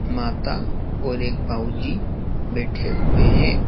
माता और एक बाबूजी बैठे हुए हैं।